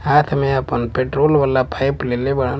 हाथ में आपन पेट्रोल वाला पाइप लेले बाड़न--